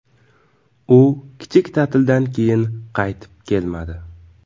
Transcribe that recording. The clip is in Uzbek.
U kichik ta’tildan keyin qaytib kelmadi.